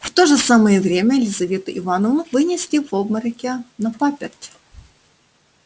в то же самое время лизавету ивановну вынесли в обмороке на паперть